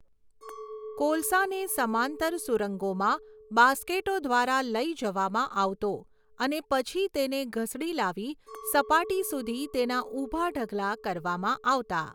કોલસાને સમાંતર સુરંગોમાં બાસ્કેટો દ્વારા લઈ જવામાં આવતો અને પછી તેને ઘસડી લાવી સપાટી સુધી તેના ઊભા ઢગલા કરવામાં આવતા.